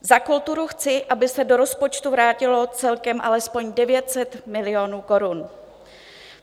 Za kulturu chci, aby se do rozpočtu vrátilo celkem alespoň 900 milionů korun.